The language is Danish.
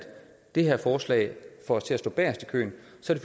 det her forslag får os til at stå bagest i køen